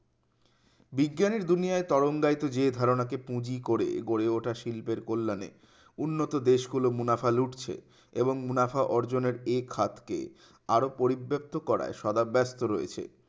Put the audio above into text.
বিজ্ঞানী দুনিয়ায় তরঙ্গায়িত যে ধারণাকে পুঁজি করে গড়ে ওঠা শিল্পের কল্যাণে উন্নত দেশগুলো মুনাফা লুটছে ওরম মুনাফা অর্জনের এক হাতকে আরো পরিব্যাপ্ত করায় সদাপ ব্যস্ত রয়েছে